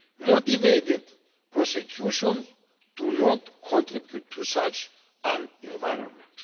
motivated prosecutions, do not contribute to such an environment.